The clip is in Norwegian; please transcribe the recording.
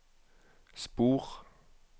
spor